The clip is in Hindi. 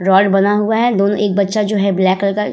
रोड बना हुआ है दोन एक बच्चा जो है ब्लैक कलर का --